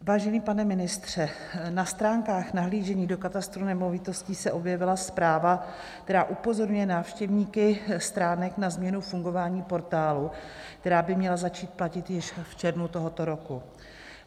Vážený pane ministře, na stránkách nahlížení do Katastru nemovitostí se objevila zpráva, která upozorňuje návštěvníky stránek na změnu fungování portálu, která by měla začít platit již v červnu tohoto roku.